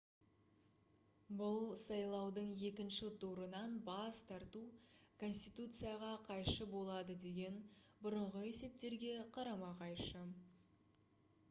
бұл сайлаудың екінші турынан бас тарту конституцияға қайшы болады деген бұрынғы есептерге қарама-қайшы